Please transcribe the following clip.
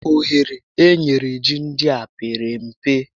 Ohere e nyere ji ndịa pere mpe